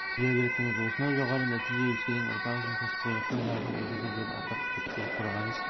көкке желбіреттіңіз осынау жоғары нәтиже өскелең ұрпақ үшін кәсіпқойлықтың жарқын үлгісі деп атап өтті қорғаныс